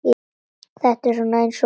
Þetta er svona eins og.